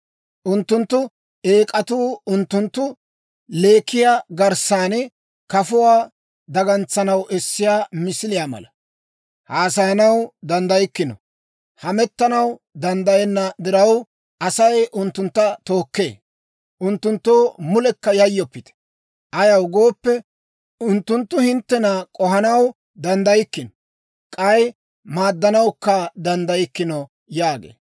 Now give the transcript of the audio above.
Unttunttu eek'atuu unttunttu leekiyaa garssan kafuwaa dagantsanaw essiyaa misiliyaa mala. Haasayanaw danddaykkino. Hamettanaw danddayenna diraw, Asay unttuntta tookkee. Unttunttoo mulekka yayyoppite. Ayaw gooppe, unttunttu hinttena k'ohanaw danddaykkino; k'ay maaddanawukka danddaykkino» yaagee.